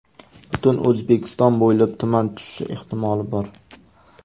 Butun O‘zbekiston bo‘ylab tuman tushishi ehtimoli bor.